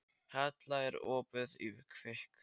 Halla, er opið í Kvikk?